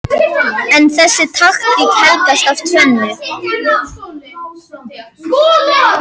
En þessi taktík helgast af tvennu